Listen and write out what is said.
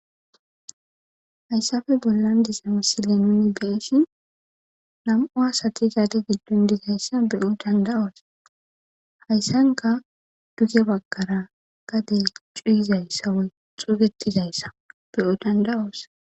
hayssafe bollan disami sile nuni beeshin nam7u asati zaade giddon dizayssa beyo danda7oosa hayssanka duge bakara gade cuuyizayssa woy xuugetizayssa be7o danda7oosa